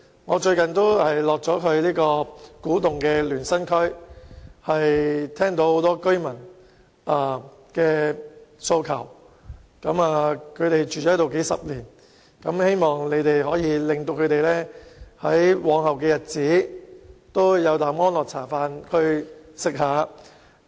我最近到訪古洞聯生區，聆聽居民的訴求，他們居住在當地數十年，希望兩位局長可讓他們在往後的日子在那裏安心居住。